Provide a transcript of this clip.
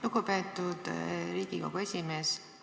Lugupeetud Riigikogu esimees!